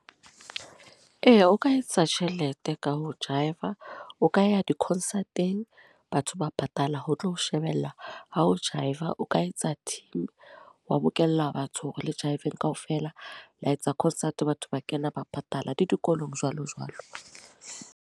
Eya o ka etsa tjhelete ka ho jive-a. O ka ya di-concert-eng, batho ba patala ho tlo shebella ha ho jive-a. O ka etsa team wa bokella batho hore le jive-eng kaofela. La etsa concert, batho ba kena ba patala. Le dikolong jwalo jwalo.